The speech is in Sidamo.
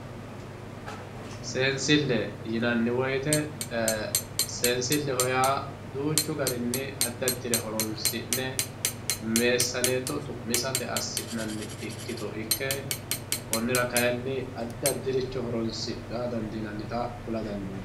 Seensille yinanni woyite seensileho yaa duuchu garinni adi adire horonsi'ne meesaneeto xu'misate asinanni ikkito ikke konira kayinni afi adiricho horonsira dandinanita kula dandinayi